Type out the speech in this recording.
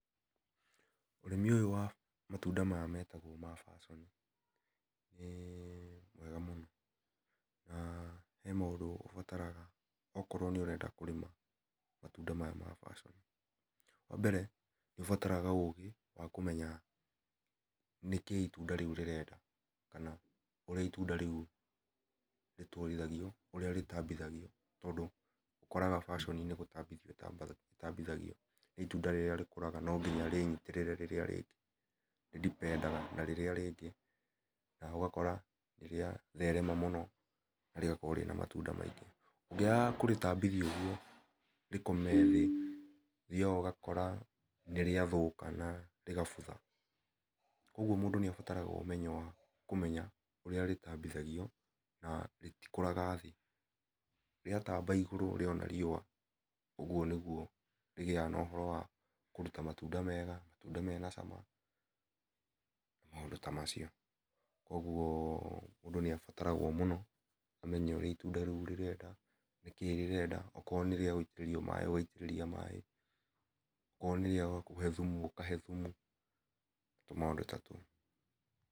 Ũrĩmi wa matunda maya metagwo passion nĩmwega mũno na he maũndũ ubataraga okorwo nĩurenda kũrĩma matunda maya ma passion. Wambere nĩ ubataraga ũgĩ wakũmenya nĩkĩĩ itunda rĩu rĩrenda kana ũria itunda rĩu rĩtambithagio, ũkoraga passion nĩgũtambithio ĩtambithagio nĩ itunda rĩrĩa rĩkũraga nonginya rĩnitĩrĩre rĩrĩarĩngĩ rĩndipedaga na rĩrĩa rĩngĩ na ũgakora nĩrĩatherema mũno na rĩgakorwo rĩna matunda maingĩ. Ũngĩaga kũrĩtambithia ũguo, rĩkome thĩĩ ũthiaga ũgakora nĩrĩathũka na rĩgabutha kuogwo mundũ nĩabataraga ũmenyo wa kũmenya ũria rĩtambithagio na rĩtikũraga thĩ. Rĩataba igũrũ rĩona rioa ũgwo nĩgwi rĩgĩaga na ũhoro wa kũruta matunda mega, matunda mena cama maũndũ tamacio. Kuogwo mũndũ nĩabataragwo amenye ũrĩa itunda rĩu rĩrenda nĩkĩ rĩrenda okorwo nĩrĩagũitirĩria maĩ okorwo nĩrĩa kũhe thumu ũkahe thumu tũmaũndũ ta tũu